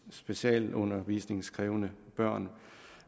specialundervisningskrævende børn